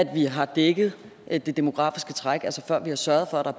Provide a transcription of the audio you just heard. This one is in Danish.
vi har dækket det det demografiske træk altså før vi har sørget for at der